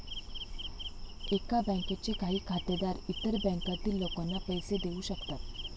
एका बँकेचे काही खातेदार इतर बँकांतील लोकांना पैसे देवू शकतात.